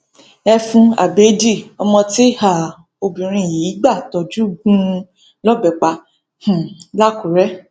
ẹfun abẹẹdì ọmọ tí um obìnrin yìí gbà tojú gún un lọbẹ pa um làkùrẹ